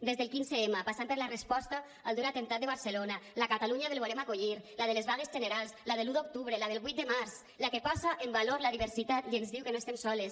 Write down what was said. des del quinze m passant per la resposta al dur atemptat de barcelona la catalunya del volem acollir la de les vagues generals la de l’un d’octubre la del vuit de març la que posa en valor la diversitat i ens diu que no estem soles